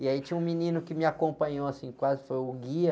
E aí tinha um menino que me acompanhou, assim, quase, foi o guia.